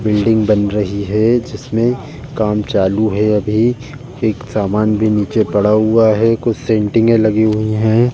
Building बन रही है। जिसमें काम चालू है अभी। एक समान भी नीचे पड़ा हुआ है। कुछ में भी लगी हुई हैं।